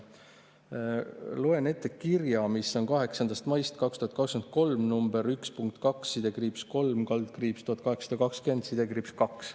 Loen ette kirja, mis on 3. maist 2023, nr 1.2-3/1820-2.